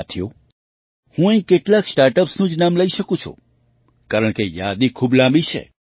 સાથીઓ હું અહીં કેટલાંક સ્ટાર્ટ અપ્સનું જ નામ લઈ શકું છું કારણકે યાદી ખૂબ લાંબી છે